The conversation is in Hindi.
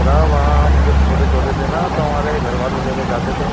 बता वहाँ हम जब छोटे-छोटे थे ना तो हमारे घर वाले लेकर जाते थे।